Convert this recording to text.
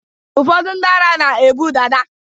ụfọdụ ndị ara na-ebu dada